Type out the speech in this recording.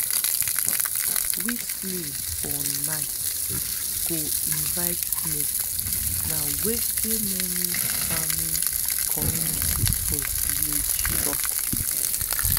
whistling for night go invite snakes na wetin many farming communities for village tok.